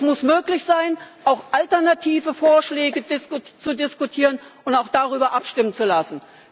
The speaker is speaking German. Es muss möglich sein, auch alternative Vorschläge zu diskutieren und auch darüber abstimmen zu lassen.